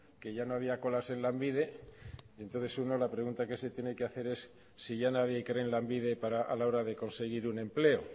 que ya no había colas en lanbide entonces uno la pregunta que se tiene que hacer es si ya nadie cree en lanbide a la hora de conseguir un empleo